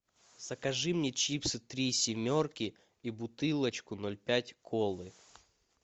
закажи мне чипсы три семерки и бутылочку ноль пять колы